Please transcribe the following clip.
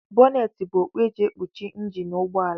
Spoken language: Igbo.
Bọneetị bụ okpu e ji ekpuchi njini ụgbọala